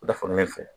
U da fan ne fɛ